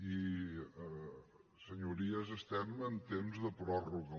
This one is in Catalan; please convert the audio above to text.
i senyories estem en temps de pròrroga